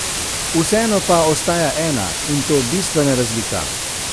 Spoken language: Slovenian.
Vseeno pa ostaja ena, in to bistvena razlika.